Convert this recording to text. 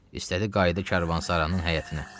İstədi qayıdı karvansaranın həyətinə.